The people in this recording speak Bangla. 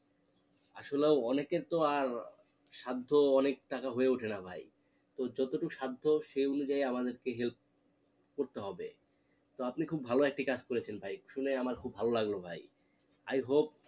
আসলে অনেকের তো আর সাধ্য অনেক টাকা হয়ে ওঠে না ভাই, তো যত টুকু সাধ্য সে অনুযায়ী আমাদের কে help করতে হবে আপনি খুব ভালো একটি কাজ করেছেন ভাই শুনে আমার খুব ভালো লাগলো ভাই I hope